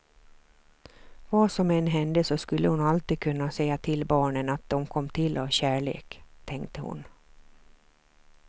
Vad som än hände så skulle hon alltid kunna säga till barnen att de kom till av kärlek, tänkte hon.